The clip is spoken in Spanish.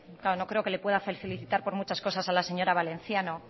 claro no creo que pueda felicitarle por muchas cosas a la señora valenciano